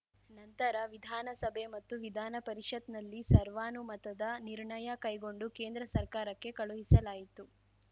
ನಂತರ ವಿಧಾನಸಭೆ ಮತ್ತು ವಿಧಾನ ಪರಿಷತ್‍ನಲ್ಲಿ ಸರ್ವಾನುಮತದ ನಿರ್ಣಯ ಕೈಗೊಂಡು ಕೇಂದ್ರ ಸರ್ಕಾರಕ್ಕೆ ಕಳುಹಿಸಲಾಯಿತು